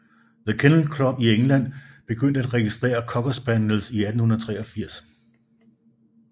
The Kennel Club i England begyndte at registrere Cocker Spaniels i 1883